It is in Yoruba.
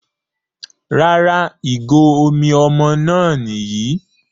Rárá ìgò omi ọmọ náà Nìyí